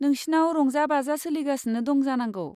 नोंसिनाव रंजा बाजा सोलिगासिनो दं जानांगौ।